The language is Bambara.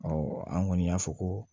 an kɔni y'a fɔ ko